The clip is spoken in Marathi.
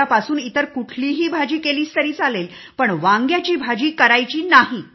उद्यापासून इतर कुठलीही भाजी बनवलीस तरी चालेल पण वांगी बनवायची नाही